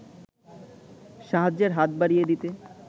সাহায্যের হাত বাড়িয়ে দিতে